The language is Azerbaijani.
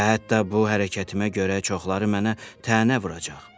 Və hətta bu hərəkətimə görə çoxları mənə tənə vuracaq.